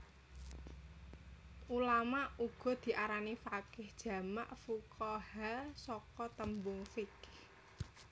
Ulama uga diarani faqih jamak fuqahaa saka tembung fiqh